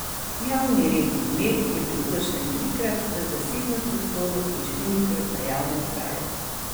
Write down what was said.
Javni red in mir je bil kršen trikrat v zasebnem prostoru in štirikrat na javnem kraju.